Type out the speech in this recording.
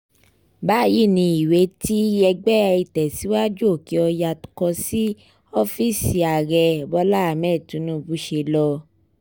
báyìí ni ìwé tí ẹgbẹ́ ìtẹ̀síwájú òkè-ọ̀yà kọ sí ọ́fíìsì ààrẹ bọ́lá ahmed tinubu ṣe lọ